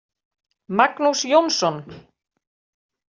Magnús Jónsson.